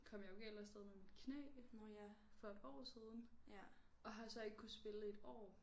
Kom jeg jo galt afsted med mit knæ for et par år siden og har så ikke kunnet spille et år